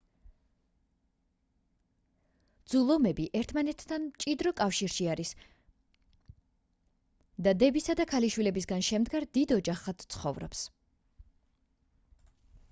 ძუ ლომები ერთმანეთთან მჭიდრო კავშირში არის და დებისა და ქალიშვილებისგან შემდგარ დიდ ოჯახად ცხოვრობს